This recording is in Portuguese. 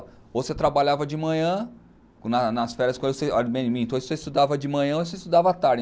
Ou você trabalhava de manhã, nas nas férias com ele, minto ou você estudava de manhã ou você estudava à tarde.